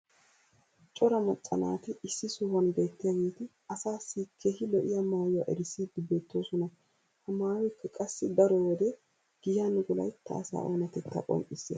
cora macca naati issi sohuwan beetiyaageeti asaassi keehi lo'iya maayuwa erissiidi beetoosona. ha maayoykka qassi daro wode giyan wolaytta asaa oonatettaa qonccissees.